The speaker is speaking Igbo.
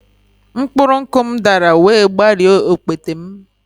Mkpụrụ nkwụ m dara wee gbarie okpete m